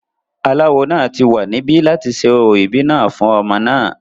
aláwo náà ti wà níbí láti ṣe orò ìbí náà fún ọmọ náà